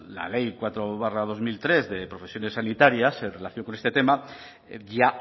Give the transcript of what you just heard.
la pues la ley cuatro barra dos mil tres de profesiones sanitarias en relación con este tema ya